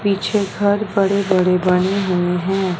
पीछे घर बड़े बड़े बने हुए है।